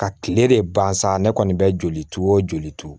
Ka kile de ban sa ne kɔni bɛ joli o joli turu